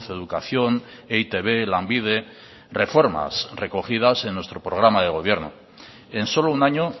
educación e i te be lanbide reformas recogidas en nuestro programa de gobierno en solo un año